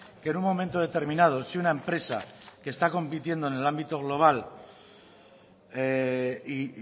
que en un momento determinado si una empresa que está compitiendo en el ámbito global y